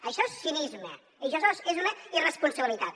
això és cinisme això és una irresponsabilitat